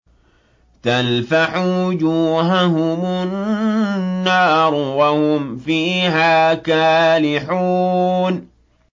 تَلْفَحُ وُجُوهَهُمُ النَّارُ وَهُمْ فِيهَا كَالِحُونَ